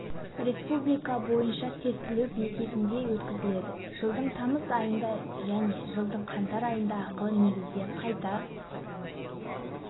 республика бойынша тестілеу бекетінде өткізіледі жылдың тамыз айында және жылдың қаңтар айында ақылы негізде қайта